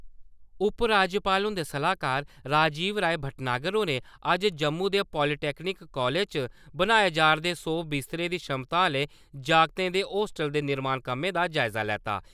उप-राज्यपाल हुंदे सलाह्कार राजीव राय भटनागर होरें अज्ज जम्मू दे पालिटैक्नीक कालेज च बनाए जारदे सौ विस्तरें दी छमता आह्ले जागतें दे होस्टल दे निर्माण कम्मै दा जायज़ा लैता।